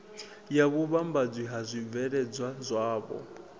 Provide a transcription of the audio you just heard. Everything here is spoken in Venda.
ya vhuvhambadzi ha zwibveledzwa zwavho